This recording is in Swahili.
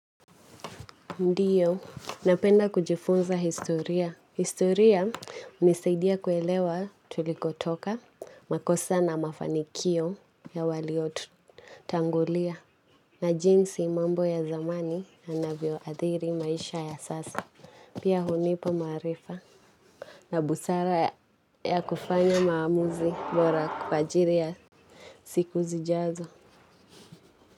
Ndiyo, napenda kujifunza historia. Historia unisaidia kuelewa, tulikotoka, makosa na mafanikio ya waliotu tangulia, na jinsi mambo ya zamani yanavyoadhiri maisha ya sasa. Pia hunipa maarifa na busara ya yakufanya maamuzi bora kwa ajiri ya siku zijazo.